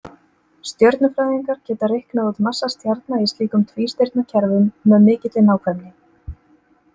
Stjörnufræðingar geta reiknað út massa stjarna í slíkum tvístirnakerfum með mikilli nákvæmni.